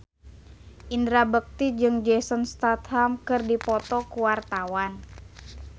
Indra Bekti jeung Jason Statham keur dipoto ku wartawan